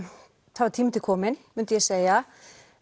það var tími til kominn myndi ég segja